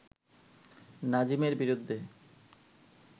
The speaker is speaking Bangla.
নাজিমের বিরুদ্ধে